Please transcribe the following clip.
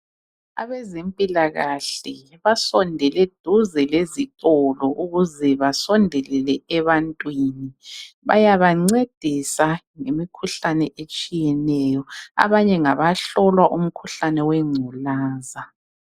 Abezempilakahle basondele duze lezitolo ukuze basondelele ebantwini. Bayabancedisa ngemikhuhlane etshiyeneyo abanye ngabahlolwa umkhuhlane wengculaza.